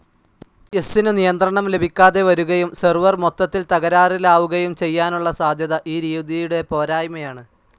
എസ്സ്നു നിയന്ത്രണം ലഭിക്കാതെ വരുകയും സെർവർ മൊത്തത്തിൽ തകരാറിലാവുകയും ചെയ്യാനുള്ള സാധ്യത ഈ രീതിയുടെ പോരായ്മയാണ്.